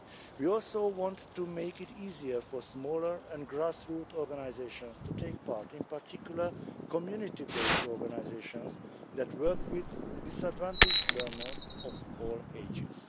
We also want to make it easier for smaller and grassroots organisations to take part, in particular community based organisations that work with disadvantaged learners of all ages.